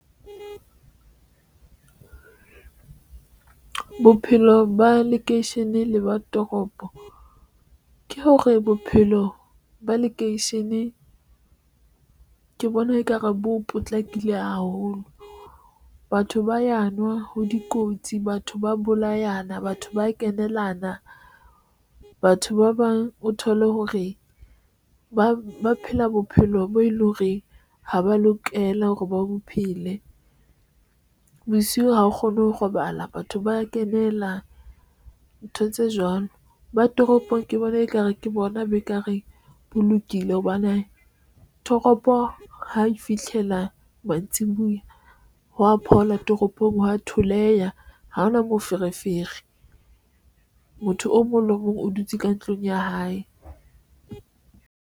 Bophelo ba lekeisheneng le ba toropo ke hore bophelo ba lekeisheneng ke bona ekare bo potlakile haholo. Batho ba ya nwa ho dikotsi, batho ba ya bolayana batho ba kenelena batho ba bang o thole hore ba ba phela bophelo bo e leng hore ha ba lokela hore ba bo phele bosiu. Ha o kgone ho robala, batho ba kenela ntho tse jwalo ba toropong ke bona ekare ke bona bo eka reng bo lokile, hobane toropo ho fihlela mantsiboya ho ya phola toropong ha a theoleha ha hona moferefere. Motho o mong le o mong o dutse ka ntlong ya hae.